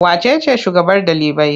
Wace ce shugabar ɗalibai?